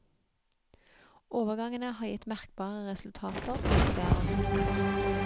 Overgangene har gitt merkbare resultater, presiserer hun.